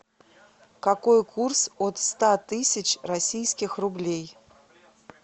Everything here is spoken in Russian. какой курс от ста тысяч российских рублей